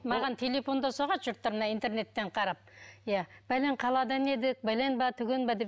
маған телефон да соғады жұрттар мына интернеттен қарап иә бәлен қаладан едік бәлен бе түген бе деп